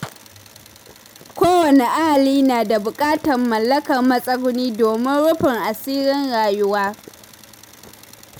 Kowane ahali na da buƙatar mallakar matsuguni domin rufin asirin rayuwa.